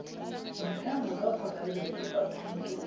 ditheo tsa poraebete tsa thuto